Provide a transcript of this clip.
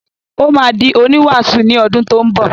Ó máa di oníwàásù ní odún tó ń bọ̀.